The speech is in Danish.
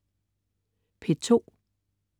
P2: